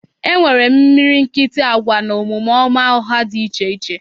E nwere imilikiti agwa na omume ọma ọha dị iche iche.